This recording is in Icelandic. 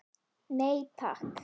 Nei takk.